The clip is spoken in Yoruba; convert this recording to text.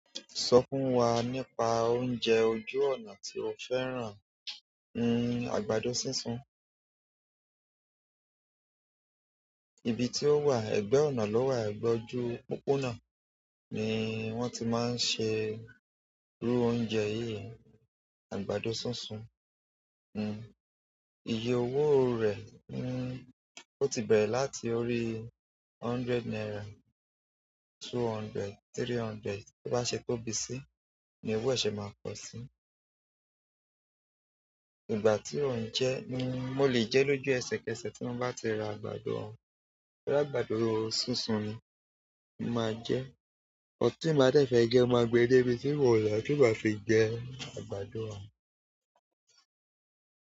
Sọ fún wa nípa oúnjẹ ojú ọ̀nà tí o fẹ́ràn, àgbàdo súnsun. Ibi tí ó wà, ẹ̀gbẹ́ ọ̀nà lọ́wa egbe ojú pópónà ni wọ́n ti máa ń ṣe irú oúnjẹ yìí, àgbàdo súnsun. Iye owó rẹ̀, ó ti bẹ̀rẹ̀ láti orí hundred naira, two hundred, three hundred, tí ó bá ṣe tóbi síi ni owó ẹ sẹ̀ máa kọ sí. Ìgbà tí ó ń jẹ́, mo lè jẹ́ lójú ẹsẹ̀kẹsẹ̀ tí mo bá ti ra àgbàdo ohun, totu àgbàdo súnsun ni mo máa jẹ́. Tin mlbáa dẹ̀ fẹ́ jẹ, mo máa gbe dé ibi tí mon lo tí ma bá fi jẹ àgbàdo òhún.